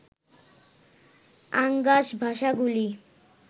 আঙ্গাস ভাষাগুলি